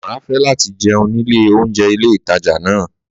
Má fẹ lati jẹun nile ounjẹ Ile ìtajà na